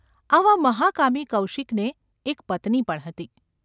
આવા મહાકામી કૌશિકને એક પત્ની પણ હતી.